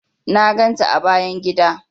Na ganta a bayan gida.